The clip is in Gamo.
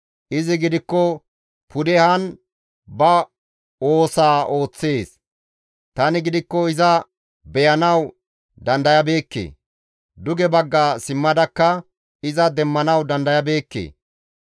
Izi gidikko pudehan ba oosaa ooththees; tani gidikko iza beyanawu dandayabeekke; duge bagga simmadakka iza demmanawu dandayabeekke.